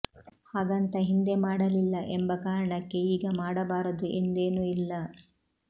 ಹಾಗಂತ ಹಿಂದೆ ಮಾಡಲಿಲ್ಲ ಎಂಬ ಕಾರಣಕ್ಕೆ ಈಗ ಮಾಡಬಾರದು ಎಂದೇನೂ ಇಲ್ಲ